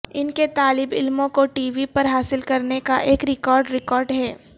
ان کے طالب علموں کو ٹی وی پر حاصل کرنے کا ایک ریکارڈ ریکارڈ ہے